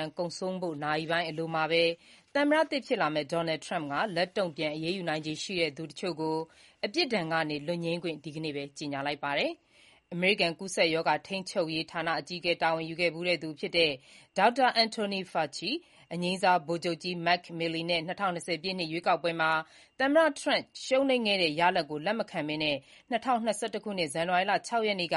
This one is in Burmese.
မ်းကုန်ဆုံးဖို့ နာရီပိုင်း အလိုမှာပဲ သမ္မတသစ် ဖြစ်လာမယ့် Donald Trump က လက်တုံ့ပြန်အရေးယူနိုင်ခြေရှိတဲ့ သူတချို့ကို ပြစ်ဒဏ်က လွတ်ငြိမ်းခွင့် ဒီကနေ့ပဲ ကြေညာလိုက်ပါတယ်။ အမေရိကန် ကူးစက်ရောဂါ ထိန်းချုပ်ရေးဌာန အကြီးအကဲ တာဝန်ယူခဲ့ဖူးသူ Dr. Anthony Fauci, အငြိမ်းစား ဗိုလ်ချုပ်ကြီး Mark Milley နဲ့ ၂၀၂၀ ပြည့် ရွေးကောက်ပွဲမှာ သမ္မတထရမ့် ရှုံးနိမ့်ခဲ့တဲ့ ရလဒ်ကို လက်မခံပဲ ၂၀၂၁ ခုနှစ် ဇန်နဝါရီလ ၆ ရက်နေ့က